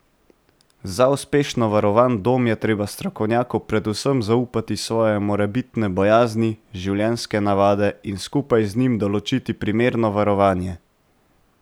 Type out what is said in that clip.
Za uspešno varovan dom je treba strokovnjaku predvsem zaupati svoje morebitne bojazni, življenjske navade in skupaj z njim določiti primerno varovanje.